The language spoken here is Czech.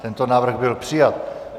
Tento návrh byl přijat.